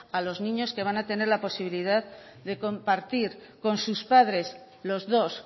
a los niños que van a tener la posibilidad de compartir con sus padres los dos